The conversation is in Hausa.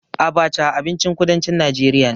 Abaca abincin kudancin najeriya ne.